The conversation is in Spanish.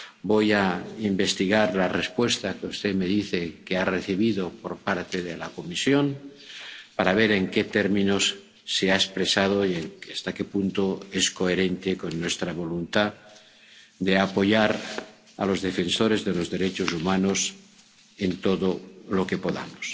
Voy a investigar la respuesta que usted me dice que ha recibido de la Comisión para ver en qué términos se ha expresado y hasta qué punto es coherente con nuestra voluntad de apoyar a los defensores de los derechos humanos en todo lo que podamos.